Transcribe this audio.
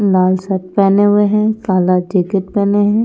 लाल shirt पहने हुए हैं काला जैकेट पहने हैं ।